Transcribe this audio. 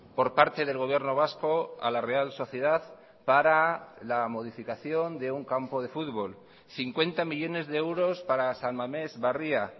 por parte del gobierno vasco a la real sociedad para la modificación de un campo de fútbol cincuenta millónes de euros para san mames barria